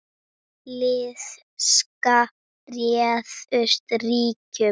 Illska réð ríkjum.